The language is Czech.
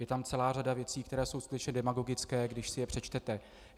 Je tam celá řada věcí, které jsou skutečně demagogické, když si je přečtete.